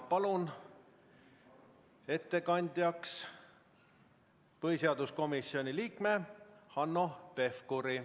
Palun ettekandjaks põhiseaduskomisjoni liikme Hanno Pevkuri.